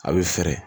A bɛ fɛrɛ